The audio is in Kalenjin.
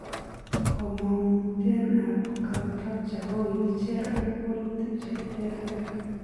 Komonguten ap contracture kogigicher ag wolutik che terter.